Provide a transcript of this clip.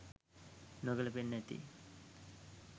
නොගැලපෙන්න ඇති.